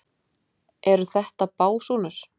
Eru þetta básúnur?